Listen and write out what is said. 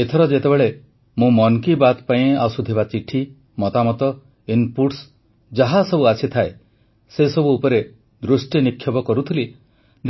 ଏଥର ଯେତେବେଳେ ମୁଁ ମନ୍ କି ବାତ୍ ପାଇଁ ଆସୁଥିବା ଚିଠି ମତାମତ ଇନ୍ପୁଟ୍ସ ଯାହାସବୁ ଆସିଥାଏ ସେସବୁ ଉପରେ ଦୃଷ୍ଟିନିକ୍ଷେପ କରୁଥିଲି